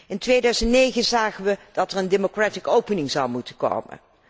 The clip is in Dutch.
In 2009 zagen wij dat er een democratische opening zou moeten komen.